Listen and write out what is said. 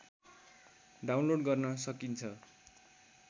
download गर्न सकिन्छ